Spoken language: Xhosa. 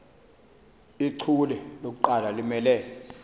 ichule lokuqala limele